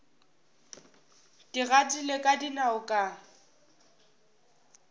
ke gatile ka dinao ka